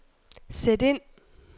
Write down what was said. sæt ind